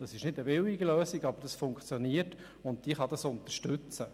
Das ist keine billige Lösung, aber sie funktioniert, und ich kann sie unterstützen.